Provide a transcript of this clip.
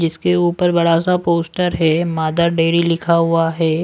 जिसके ऊपर बड़ा सा पोस्टर है मादर डेरी लिखा हुआ है।